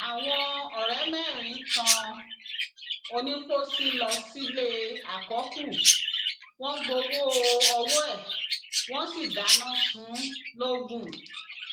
àwọn ọrẹ mẹrin tan onípọs lọ sílé àkọkù wọn gbowó ọwọ ẹ wọn sì dáná sun ún logun